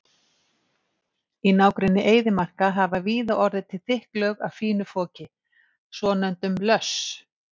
Í nágrenni eyðimarka hafa víða orðið til þykk lög af fínu foki, svonefndum löss.